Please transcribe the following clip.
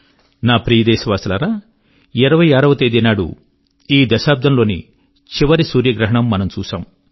నా ప్రియదేశవాసులారా 26 వ తేది ఈ దశాబ్దం లోని చివరి సూర్యగ్రహణం మనం చూశాం